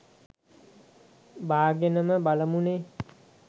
බාගෙනම බලමු නේ.